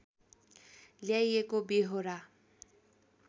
ल्याइएको व्यहोरा